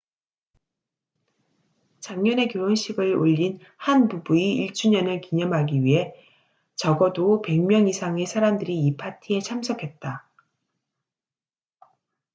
작년에 결혼식을 올린 한 부부의 1주년을 기념하기 위해 적어도 100명 이상의 사람들이 이 파티에 참석했다